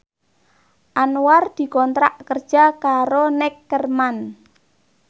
Anwar dikontrak kerja karo Neckerman